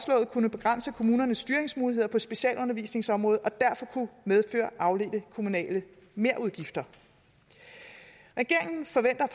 kunne begrænse kommunernes styringsmuligheder på specialundervisningsområdet og derfor kunne medføre afledte kommunale merudgifter regeringen forventer at